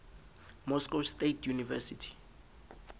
moscow state university